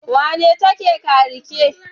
wane take ka rike